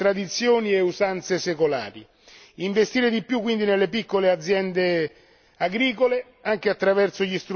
Investire di più quindi nelle piccole aziende agricole anche attraverso gli strumenti della PAC e della politica di coesione.